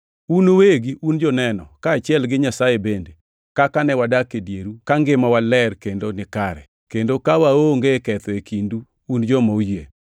Un uwegi un joneno, kaachiel gi Nyasaye bende, kaka ne wadak e dieru ka ngimawa ler kendo nikare, kendo ka waonge ketho e kindu un joma oyie.